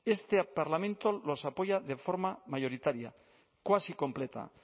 este parlamento los apoya de forma mayoritaria cuasi completa